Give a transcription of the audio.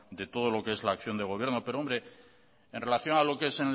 de todo lo que es la acción de gobierno pero hombre en relación a lo que es